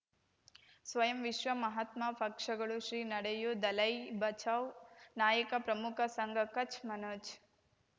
ಸ್ವಯಂ ವಿಶ್ವ ಮಹಾತ್ಮ ಪಕ್ಷಗಳು ಶ್ರೀ ನಡೆಯೂ ದಲೈ ಬಚೌ ನಾಯಕ ಪ್ರಮುಖ ಸಂಘ ಕಚ್ ಮನೋಜ್